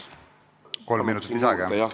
Kolm minutit lisaaega, jah?